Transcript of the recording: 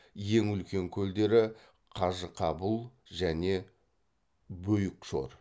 ең үлкен көлдері қажықабұл және бөйүкшор